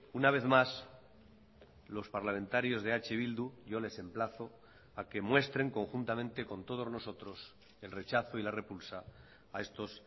una vez más los parlamentarios de eh bildu yo les emplazo a que muestren conjuntamente con todos nosotros el rechazo y la repulsa a estos